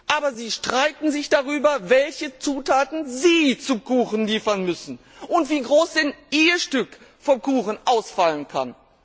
Aber sie streiten sich darüber, welche Zutaten SIE zum Kuchen liefern müssen und wie groß denn IHR Stück vom Kuchen ausfallen kann.